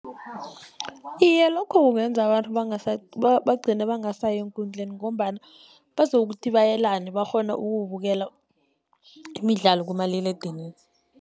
Iye, lokho kungenza abantu bagcine bangasayi eenkundleni, ngombana bazokuthi bayelani bakghona ukuwubukela imidlalo kumaliledinini.